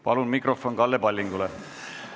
Palun mikrofon Kalle Pallingule!